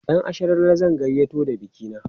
ƴan asharalle zan gayyato da bikina